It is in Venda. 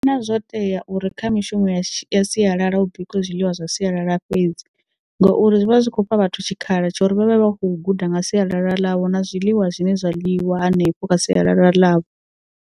Ndi vhona zwo tea uri kha mishumo ya sialala hu bikiwe zwiḽiwa zwa sialala fhedzi ngauri zwi vha zwi kho fha vhathu tshikhala tsho uri vhavhe vha kho guda nga sialala ḽavho na zwiḽiwa zwine zwa ḽiwa hanefho kha sialala ḽavho.